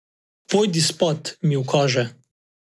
Pojdi spat, mi ukaže.